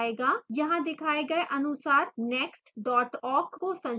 यहाँ दिखाए गए अनुसार next awk को संशोधित करें